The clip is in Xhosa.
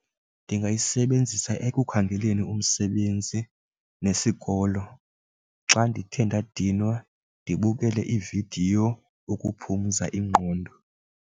Ndingayisebenzisa ekukhangeleni umsebenzi nesikolo xa ndithe ndadinwa ndibukele iividiyo ukuphumza ingqondo.